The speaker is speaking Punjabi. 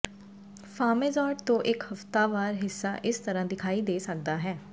ਫਾਰਮੇਜ਼ਾਰਡ ਤੋਂ ਇਕ ਹਫਤਾਵਾਰ ਹਿੱਸਾ ਇਸ ਤਰ੍ਹਾਂ ਦਿਖਾਈ ਦੇ ਸਕਦਾ ਹੈ